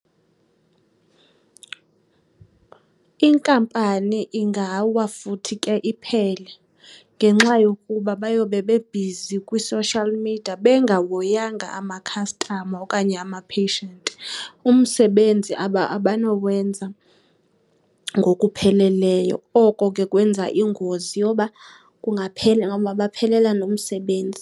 Inkampani ingawa futhi ke iphele ngenxa yokuba bayoba bebhizi kwi-social media bengahoyanga amakhastama okanye amapheshiyenti. Umsebenzi abanowenza ngokupheleleyo oko ke kwenza ingozi yoba ungabaphelele nomsebenzi.